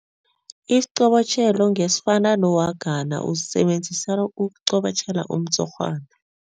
Isiqobotjhelo ngesifana nowagadana usisebenzisa ukuqobotjhela umtshurhwana.